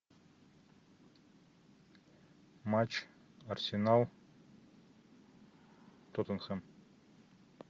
матч арсенал тоттенхэм